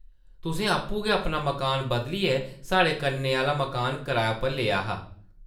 तुसें आपूं गै अपना मकान बदलियै साढ़े कन्नै आह्ला मकान कराए उप्पर लेआ हा ।